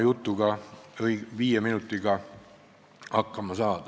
Palun, kolm minutit juurde!